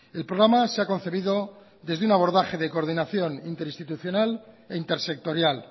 el programa se ha concebido desde un abordaje de coordinación interinstitucional e intersectorial